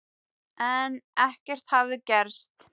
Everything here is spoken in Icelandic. En ekkert hafði gerst.